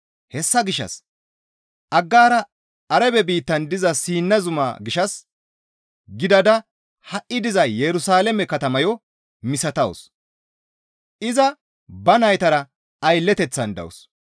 Hessa gishshas Aggaara Arabe biittan diza Siina zumaa gishshas gidada ha7i diza Yerusalaame katamayo misatawus; iza ba naytara aylleteththan dawus.